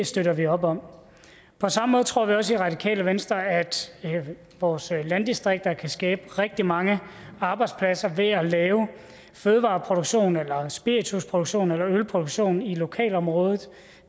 støtter vi op om på samme måde tror vi også i radikale venstre at vores landdistrikter kan skabe rigtig mange arbejdspladser ved at lave fødevareproduktion spiritusproduktion eller ølproduktion i lokalområdet